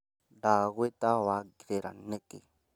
Ndagũita wangirĩra nĩkĩ?